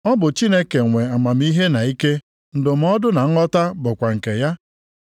“Ọ bụ Chineke nwe amamihe na ike, ndụmọdụ na nghọta bụkwa nke ya.